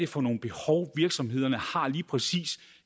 for nogen behov virksomhederne har lige præcis